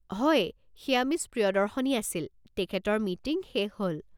হয়, সেইয়া মিছ প্ৰিয়দৰ্শনী আছিল, তেখেতৰ মিটিং শেষ হ'ল।